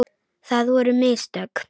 Það voru mistök.